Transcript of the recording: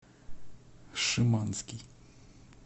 шиманский